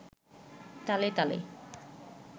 তালে তালে